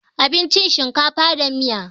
Abincin shinkafa da miya ne